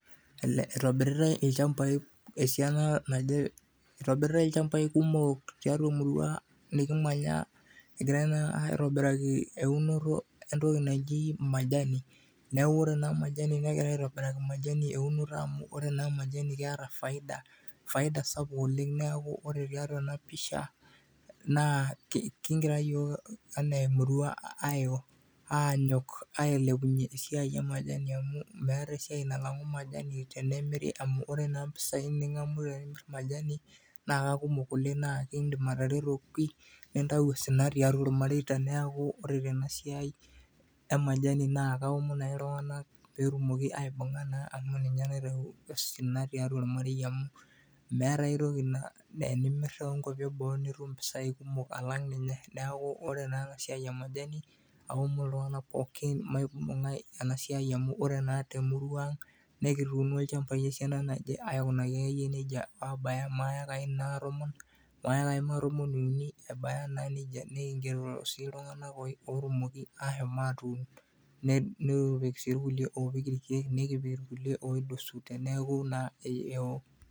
itobiritae ilchambai esiana naje, ilchambai kumok eunoto entoki naji, naa majani nagirai atobiraki eunoto, ore naa majani naa keeta faida, sapuk oleng neeku, ore pee iyata enapisha, naa kigira iyiok enaa emurua aiko anyok ailepunye impisai emajani amu meeta naa enilo miyata majani, naa ekidim atereto oleng nintayu osina tiatua olmarei naa kaomon ake iltunga maibunga enasiai emajani.